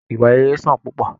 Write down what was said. Ìwà rere sàn púpọ!